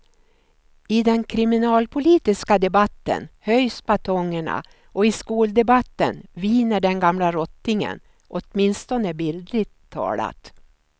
I den kriminalpolitiska debatten höjs batongerna och i skoldebatten viner den gamla rottingen, åtminstone bildligt talat.